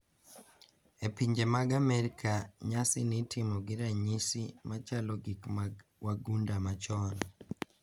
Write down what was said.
E pinje mag Amerka, nyasini itimo gi ranyisi ma chalo gi mag wagunda machon.